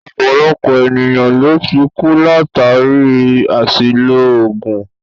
Ọ̀pọ̀lọpọ̀ ènìyàn ló tí kú látàri àṣìlò oògùn.